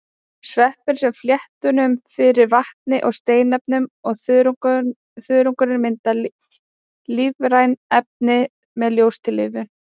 Sveppurinn sér fléttunum fyrir vatni og steinefnum og þörungurinn myndar lífræn efni með ljóstillífun.